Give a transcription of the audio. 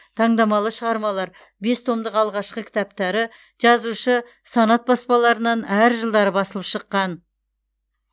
таңдамалы шығармалар бес томдық алғашқы кітаптары жазушы санат баспаларынан әр жылдары басылып шыққан